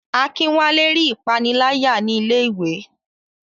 Akinwale rí ìpániláyà ní ilé iwé.